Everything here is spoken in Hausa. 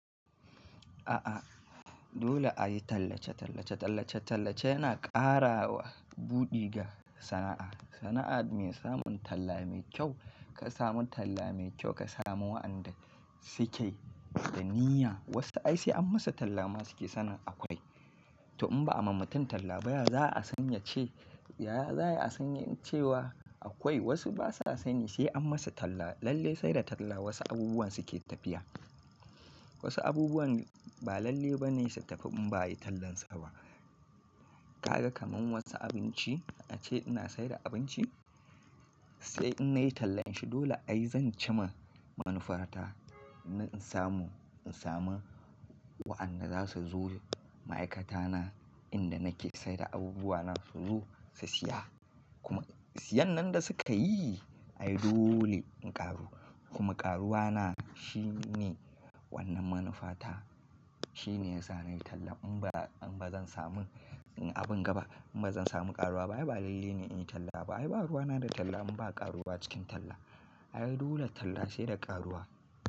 A'a dole ayi tallace-tallace, tallace-tallace yana ƙara wa buɗe ga sana'a. Sana'a me samun talla mai kyau, ka samu talla mai kyau ka samu waɗanda suke da niyya. Wasu ai sai an masu talla ma suke sanin akwai. To in ba a ma mutum talla ba ya, za a sanya ce, ya, za a sani cewa akwai. Wasu basa sani sai an masu talla. Lalle sai da talla wasu abubuwan suke tafiya. Wasu abubuwan ba lalle bane su tafi in ba ayi tallan su ba. Ka ga kaman wasu abinci, ace ina saida abinci, sai in na yi tallan shi dole ai zan cima manufar ta. Na in samu, in samu waɗanda zasu zo ma'aikata na inda nake saida abubuwa na su zo su siya. Kuma siyan nan da suka yi ai dole in ƙaru. Kuma ƙaruwa na shine wannan manufa ta. Shine yasa nayi talla. In ba, in ba zan samu abin gaba. In ba zan samu ƙaruwa. Ba yi ba lalle ne in yi talla ba. Ai baruwa na da talla in ba ƙaruwa cikin talla. Ai dole talla sai da ƙaruwa.